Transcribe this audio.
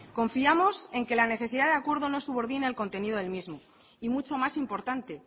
confiamos en que la necesidad de acuerdo no subordine el contenido del mismo y mucho más importante